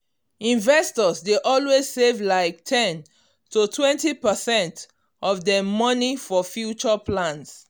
investors dey always save like ten totwentypercent of dem money for future plan.